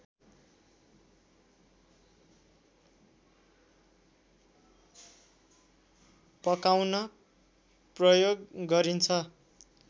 पकाउन प्रयोग गरिन्छ